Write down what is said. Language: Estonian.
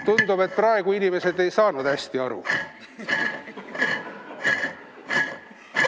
Tundub, et praegu inimesed ei saanud hästi aru.